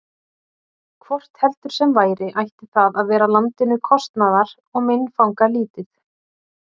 Hvort heldur sem væri, ætti það að vera landinu kostnaðar- og meinfangalítið.